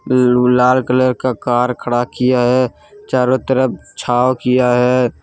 लाल colour का car खड़ा किया है चारों तरफ छांव किया हैं।